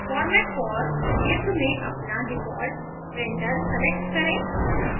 format for क्षेत्र में अपना default printer select करें